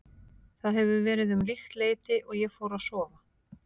Það hefur verið um líkt leyti og ég fór að sofa.